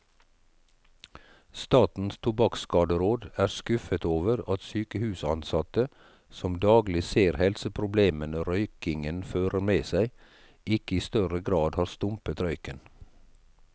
Statens tobakkskaderåd er skuffet over at sykehusansatte, som daglig ser helseproblemene røykingen fører med seg, ikke i større grad har stumpet røyken.